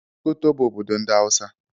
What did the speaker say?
Sokoto bụ obodo ndị Hausa.